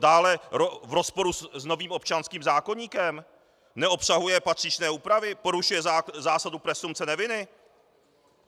Dále - v rozporu s novým občanským zákoníkem neobsahuje patřičné úpravy, porušuje zásadu presumpce neviny.